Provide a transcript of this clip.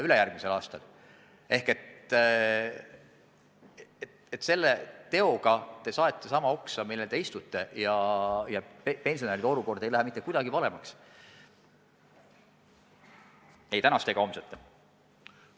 Seega te selle teoga saete oksa, millel te istute, ja pensionäride olukord ei lähe mitte kuidagi paremaks – ei tänaste ega homsete oma.